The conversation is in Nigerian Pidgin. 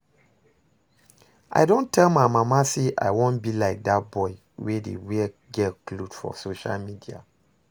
I don tell my mama say I wan be like dat boy wey dey wear girl cloth for social media